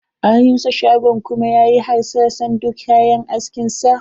An rusa shagonsa kuma yayi hasaran duka kayan askin sa.